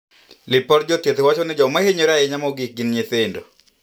Lipod jothieth wachoni joma hinyore mogik gin nyithindo.